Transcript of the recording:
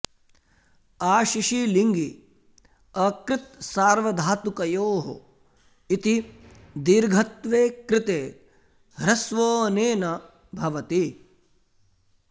आशिषि लिङि अकृत्सार्वधातुकयोः इति दीर्घत्वे कृते ह्रस्वो ऽनेन भवति